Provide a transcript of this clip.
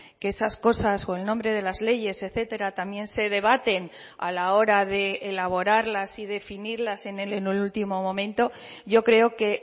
que esas cosas o el nombre de las leyes etcétera también se debaten a la hora de elaborarlas y definirlas en el último momento yo creo que